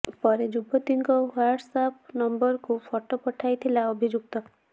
ପରେ ଯୁବତୀଙ୍କ WhatsApp ନମ୍ବରକୁ ଫଟୋ ପଠାଇଥିଲା ଅଭିଯୁକ୍ତ